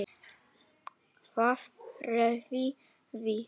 Hvað réði því?